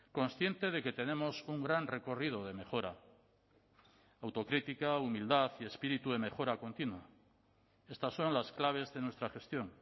consciente de que tenemos un gran recorrido de mejora autocrítica humildad y espíritu de mejora continua estas son las claves de nuestra gestión